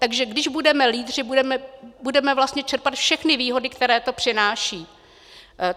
Takže když budeme lídři, budeme vlastně čerpat všechny výhody, které to přináší.